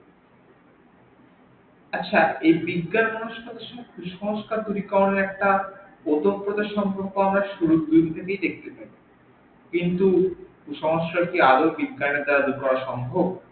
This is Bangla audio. আচ্ছা এই বিজ্ঞান মানুষ কুসংস্কার দূরীকরণের একটা অতপ্রত সম্পর্ক আমরা শুরু থেকেই দেখতে পাই, কিন্তু কুসংস্কার কি আদেও বিজ্ঞান এর দ্বারা দূর করা সম্ভব?